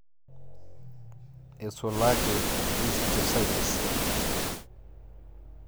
Eisulaki histiocytes.